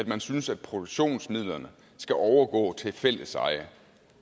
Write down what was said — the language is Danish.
man synes at produktionsmidlerne skal overgå til fælleseje